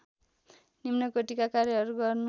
निम्नकोटीका कार्यहरू गर्नु